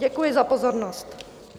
Děkuji za pozornost.